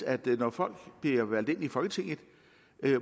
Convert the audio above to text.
at når folk bliver valgt ind i folketinget